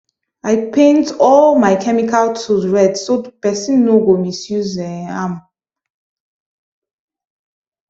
i paint all my chemical tools red so person no go misuse um am